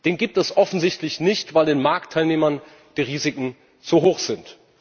Den gibt es offensichtlich nicht, weil den Marktteilnehmern die Risiken zu hoch sind.